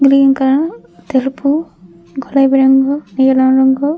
green colour తెలుపు గులాబీ రంగు నీలం రంగు--